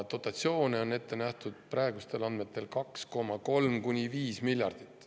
Dotatsioone on praegustel andmetel ette nähtud 2,3–5 miljardit.